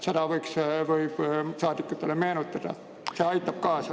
Seda võiks saadikutele meenutada, see aitab kaasa.